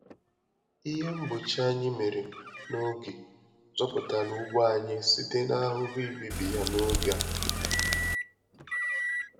Ihe mgbochi anyị mèrè n'oge zọpụtara ugbo anyị site n'ahụhụ ibibi ya n'oge a.